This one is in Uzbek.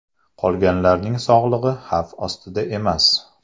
Qolganlarning sog‘lig‘i xavf ostida emas.